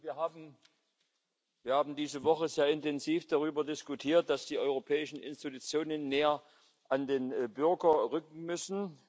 Wir haben diese Woche sehr intensiv darüber diskutiert, dass die europäischen Institutionen näher an den Bürger rücken müssen.